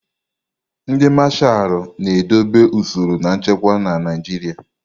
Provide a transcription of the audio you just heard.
Ndị Mashalu na-edobe usoro na nchekwa na Naijiria.